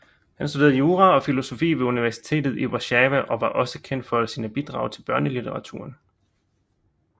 Han studerede jura og filosofi ved Universitetet i Warszawa og var også kendt for sine bidrag til børnelitteraturen